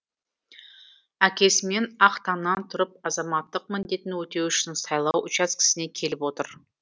әкесімен ақ таңнан тұрып азаматтық міндетін өтеу үшін сайлау учаскесіне келіп отыр